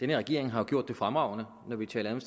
her regering har jo gjort det fremragende når vi taler om